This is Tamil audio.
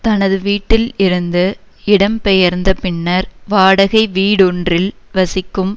தனது வீட்டில் இருந்து இடம்பெயர்ந்த பின்னர் வாடகை வீடொன்றில் வசிக்கும்